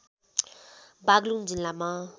बागलुङ जिल्लामा